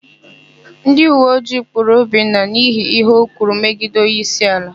Ndịuweojii kpụụrụ Obinna n'ihi íhé o kwuru megide onyeísíala.